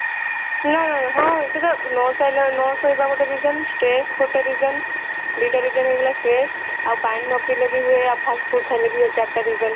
ନା ହଁ ସେଇଟା ନ ଶୋଇଲା ନ ଶୋଇବା ଗୋଟେ reason stress ଗୋଟେ reason ଦି ଟା reason ହେଇଗଲା stress ଆଉ ପାଣି ନ ପିଇଲେ ବି ହୁଏ ଆଉ fast food ଖାଇଲେ ବି ହୁଏ ଚାରିଟା reason